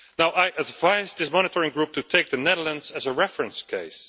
I advise this monitoring group to take the Netherlands as a reference case.